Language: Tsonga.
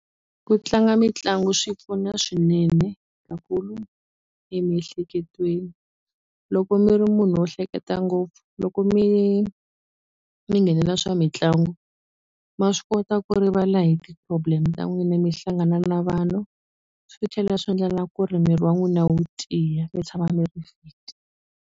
Ku tlanga mitlangu swi pfuna swinene ka emiehleketweni loko mi ri munhu wo hleketa ngopfu loko mi mi nghenela swa mitlangu ma swi kota ku rivala hi ti-problem ta n'wina mi hlangana na vanhu swi tlhela swi endlela ku ri miri wa n'wina wu tiya mi tshama mi ri .